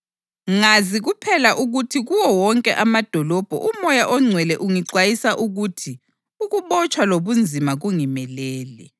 Ngazi kuphela ukuthi kuwo wonke amadolobho uMoya oNgcwele ungixwayisa ukuthi ukubotshwa lobunzima kungimelele.